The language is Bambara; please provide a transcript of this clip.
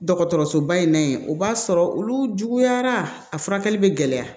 Dɔgɔtɔrɔsoba in na yen o b'a sɔrɔ olu juguyara a furakɛli bɛ gɛlɛya